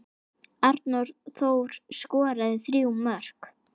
Arnór Þór skoraði þrjú mörk.